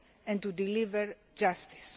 and to deliver justice.